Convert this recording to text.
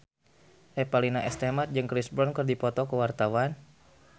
Revalina S. Temat jeung Chris Brown keur dipoto ku wartawan